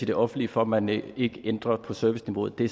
det offentlige for at man ikke ændrer på serviceniveauet det